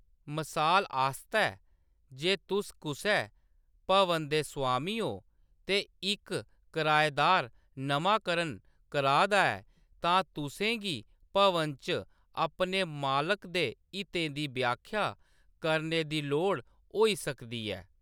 मसाल आस्तै, जे तुस कुसै भवन दे स्वामी ओ ते इक कराएदार नमांकरण करा दा ऐ, तां तुसें गी भवन च अपने मालक दे हितें दी व्याख्या करने दी लोड़ होई सकदी ऐ।